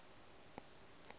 be e lea go re